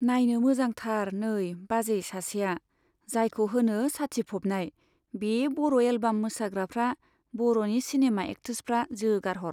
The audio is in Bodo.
नाइनो मोजांथारनै बाजै सासेया , जायखौ होनो साथिफबनाय , बे बर' एलबाम मोसाग्राफ्रा , बर'नि सिनेमा एक्ट्रेसफ्रा जोगारहर।